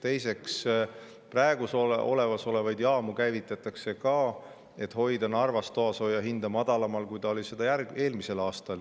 Teiseks, praegu olemasolevaid jaamu käivitatakse ka, et hoida Narvas toasooja hinda madalamal, kui see oli eelmisel aastal.